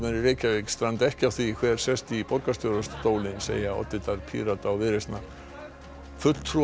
í Reykjavík stranda ekki á því hver sest í borgarstjórastólinn segja oddvitar Pírata og Viðreisnar fulltrúar